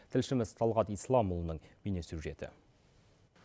тілшіміз талғат исламұлының бейне сюжеті